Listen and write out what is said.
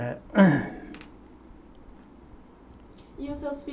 É. E os seus